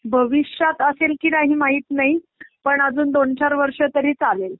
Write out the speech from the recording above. भविष्यात असेल कि नाही काही माहित नाही पण अजून दोन चार वर्ष तरी चालेल.